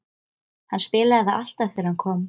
Hann spilaði það alltaf þegar hann kom.